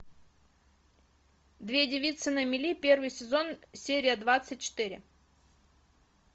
две девицы на мели первый сезон серия двадцать четыре